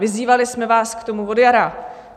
Vyzývali jsme vás k tomu od jara.